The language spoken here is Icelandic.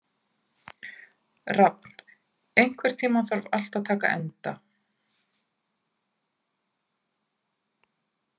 Rafn, einhvern tímann þarf allt að taka enda.